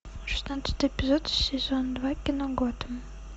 шестнадцатый эпизод сезон два кино готэм